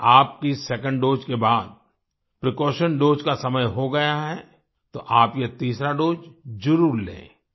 अगर आपकी second dose के बाद प्रीकॉशन दोसे का समय हो गया है तो आप ये तीसरी दोसे जरुर लें